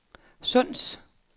Sunds